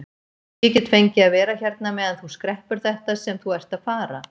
Ég get fengið að vera hérna meðan þú skreppur þetta sem þú ert að fara.